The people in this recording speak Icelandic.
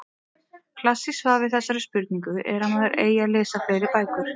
Klassískt svar er við þessari spurningu er að maður eigi að lesa fleiri bækur.